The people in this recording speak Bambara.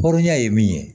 Hɔrɔnya ye min ye